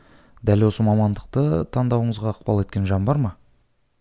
дәл осы мамандықты таңдауыңызға ықпал еткен жан бар ма